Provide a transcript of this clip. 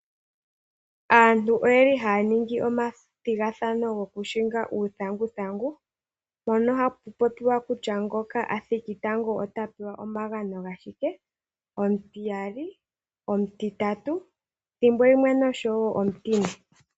Aantu oye li haya ningi omathigathano gokuhinga uuthanguthangu mpono hapu popiwa kutya konga a thiki tango ota pewa omagano gashike, omutiyali , omutitatu thimbo limwe noshowo omutine.